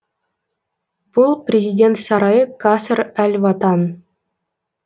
бұл президент сарайы каср әл ватан